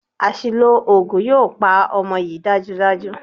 Àṣìlò oògùn yóò pa ọmọ yìí dájúdájú.